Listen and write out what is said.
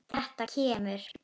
Þetta kemur.